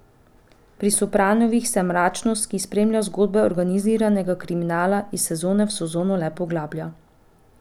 Pri Sopranovih se mračnost, ki spremlja zgodbe organiziranega kriminala, iz sezone v sezono le poglablja.